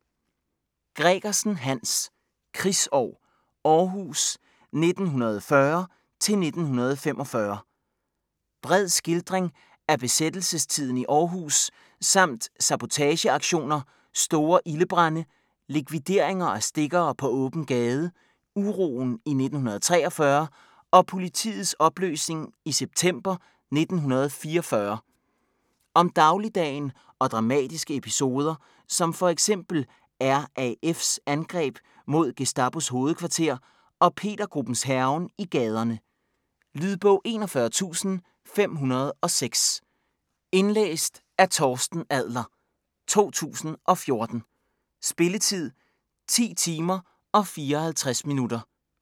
Gregersen, Hans: Krigsår - Aarhus 1940-1945 Bred skildring af besættelsestiden i Aarhus med sabotageaktioner, store ildebrande, likvideringer af stikkere på åben gade, uroen i 1943 og politiets opløsning i september 1944. Om dagligdagen og dramatiske episoder som f.eks. RAF's angreb mod Gestapos hovedkvarter og Petergruppens hærgen i gaderne. Lydbog 41506 Indlæst af Torsten Adler, 2014. Spilletid: 10 timer, 54 minutter.